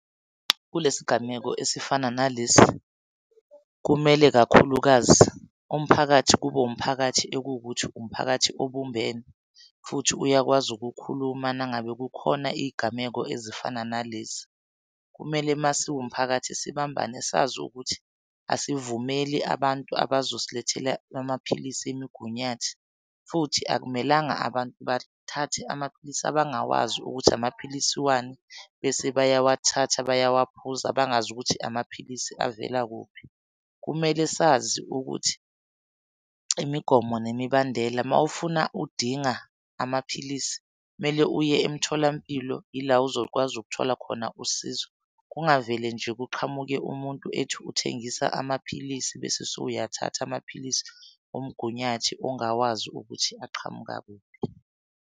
Kule sigameko esifana nalesi kumele kakhulukazi umphakathi kube wumphakathi ekuwukuthi umphakathi obumbene, futhi uyakwazi ukukhuluma mangabe kukhona iy'gameko ezifana nalezi. Kumele masiwumphakathi sibambane sazi ukuthi asivumeli abantu abazosilethela amaphilisi emigunyathi. Futhi akumelanga abantu bathathe amaphilisi abangawazi ukuthi amaphilisi wani bese bayawathatha bayawa phuza bangazi ukuthi amaphilisi avela kuphi. Kumele sazi ukuthi imigomo nemibandela mawufuna udinga amaphilisi, kumele uye emtholampilo ila ozokwazi ukuthola khona usizo. Kungavele nje kuqhamuke umuntu ethi uthengisa amaphilisi bese sowuyathatha amaphilisi omgunyathi ongawazi ukuthi aqhamuka kuphi.